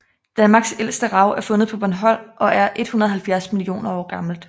Danmarks ældste rav er fundet på Bornholm og er 170 millioner år gammelt